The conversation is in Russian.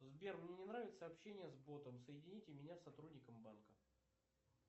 сбер мне не нравится общение с ботом соедините меня с сотрудником банка